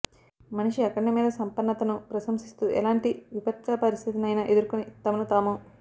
మనిషి అఖండ మేద సంపన్నతను ప్రశంసిస్తూ ఎలాంటి విపత్కపరిస్థితినైనా ఎదుర్కుని తమను తాము